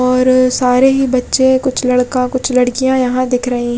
और सारे ही बच्चे कुछ लड़का कुछ लडकिया यहाँ दिख रहे --